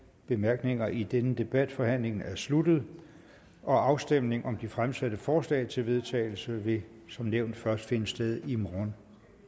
bemærkninger i denne debat forhandlingen er sluttet og afstemning om de fremsatte forslag til vedtagelse vil som nævnt først finde sted i morgen